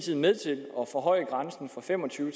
ned til fem og tyve